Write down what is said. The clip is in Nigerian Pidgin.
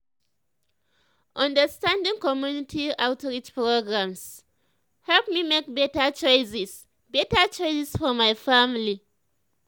understanding community outreach programs help me make better choices better choices for my family.